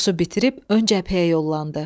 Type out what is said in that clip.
Kursu bitirib ön cəbhəyə yollandı.